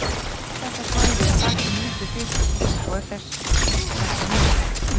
Allt þetta svæði er þakið mjúkri fitu og er þess vegna mjúkt.